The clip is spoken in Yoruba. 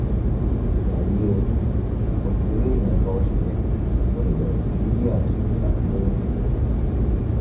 wàyí o o ti rí nǹkan oṣù rẹ o lè bẹ̀rẹ̀ sí gbìyànjú láti lóyún